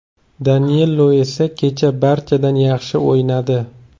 Danilo esa kecha barchadan yaxshi o‘ynadi.